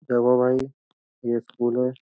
क्या हुआ भाई? ये स्कूल है।